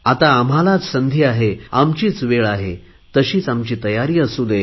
आता आम्हाला संधी आहे तशीच आमची तयारी असू दे